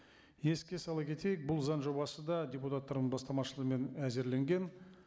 еске сала кетейік бұл заң жобасы да депутаттардың бастамашылығымен әзірленген